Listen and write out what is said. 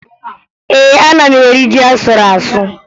Ee, ana m eri ji a sụrụ asụ